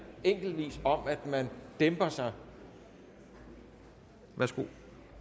enkelt om at dæmpe sig værsgo